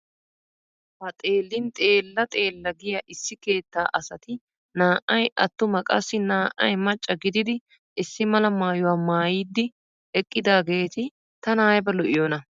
Ha xeellin xeella xeella giya issi keettaa asati naa"ay attuma qassi naa"ay macca gididi issimala maayuwa maayidi eqqidaageeti tana ayba lo"iyonaa .